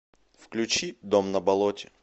включи дом на болоте